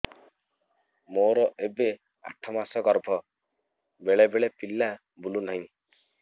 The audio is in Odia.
ମୋର ଏବେ ଆଠ ମାସ ଗର୍ଭ ବେଳେ ବେଳେ ପିଲା ବୁଲୁ ନାହିଁ